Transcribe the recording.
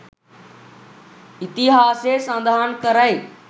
ඉතිහාසය සඳහන් කරයි.